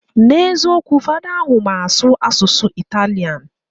Na eziokwu, fada ahu mma asu asusu Italian